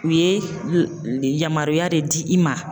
U ye yamaruya de di i ma.